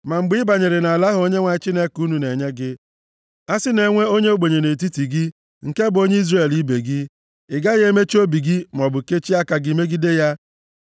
Ma mgbe ị banyere nʼala ahụ Onyenwe anyị Chineke unu na-enye gị, a sị na e nwee onye ogbenye nʼetiti gị, nke bụ onye Izrel ibe gị, ị gaghị emechi obi gị maọbụ kechie aka gị megide ya,